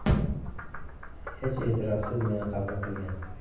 Hech e’tirozsiz meni qabul qilgan.